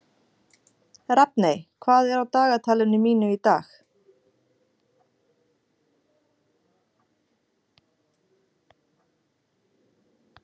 Rafney, hvað er á dagatalinu mínu í dag?